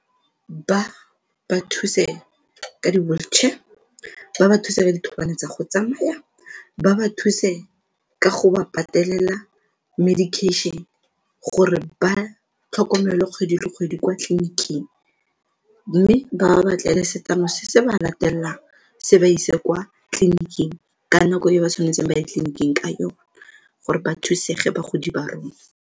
Ba ba thuse ka di-wheelchair, ba ba thuse ka dithobane tsa go tsamaya, ba ba thuse ka go ba patelela medication, gore ba tlhokomelwe kgwedi le kgwedi kwa tleliniking mme ba ba batlele setlamo se se ba latelang se ba ise kwa tleliniking ka nako e ba tshwanetseng ba ye ditleliniking ka yone gore ba thusege bagodi ba rona.